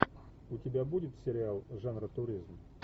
у тебя будет сериал жанра туризм